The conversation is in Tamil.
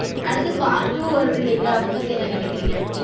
அடுத்து part two வருது இல்லிங்கலா அத பத்தி என்ன நெனைக்கீறிங்க